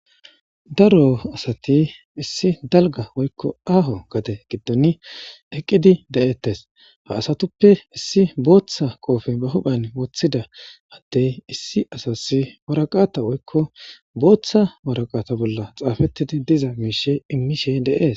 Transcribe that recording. Daro asati issi dalga woykko aaho gade giddon eqqidi de'eettes ha asatuppe issi booththa qoofen ba huphan woththida attey issi asas waraqata woykko booththa waraqata bolla xaafettidi diza miishe inmishe deees.